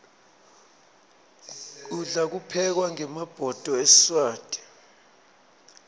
kudla kuphekwa ngemabhodo esiswati